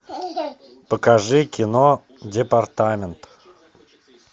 покажи кино департамент